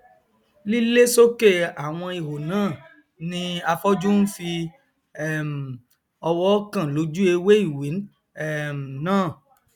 lílé sókè àwọn ihò náà ni afọjú nfi um ọwọ kàn lójú ewé ìwé um náà